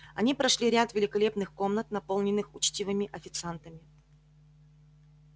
они прошли ряд великолепных комнат наполненных учтивыми официантами